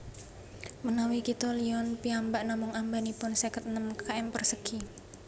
Menawi kitha Lyon piyambak namung ambanipun seket enem km persegi